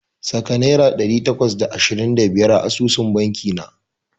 Saka naira ɗari takwas da ashirin da biyar a asusun banki na.